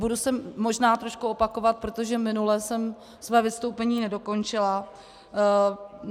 Budu se možná trošku opakovat, protože minule jsem své vystoupení nedokončila.